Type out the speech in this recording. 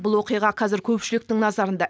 бұл оқиға қазір көпшіліктің назарында